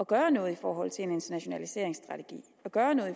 gøre noget i forhold til en internationaliseringsstrategi og gøre noget